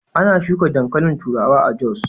Ana shuka dankalin turawa a Jos.